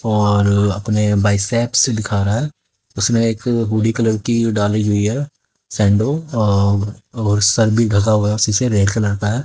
और अपने बाइसेप्स दिख रहा है। उसने एक हूडी कलर की डाली हुई है सैंडो और सर भी ढका हुआ है उसी से रेड कलर का है।